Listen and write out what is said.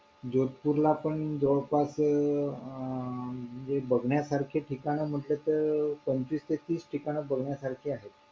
आमच्याकडे आहे तीन बायका तीन बायका बोलले आणि ती बाई काय बोलते तीस हजार रुपये काढले.